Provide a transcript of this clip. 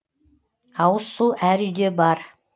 ауыз су әр үйде бар